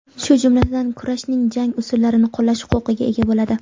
shu jumladan kurashning jang usullarini qo‘llash huquqiga ega bo‘ladi:.